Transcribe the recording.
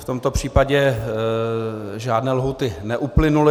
V tomto případě žádné lhůty neuplynuly.